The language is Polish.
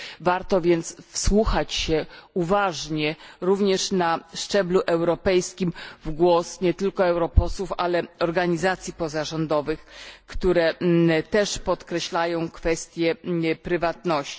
Warto więc wsłuchać się uważnie również na szczeblu europejskim w głos nie tylko europosłów, ale i organizacji pozarządowych, które też podkreślają kwestię prywatności.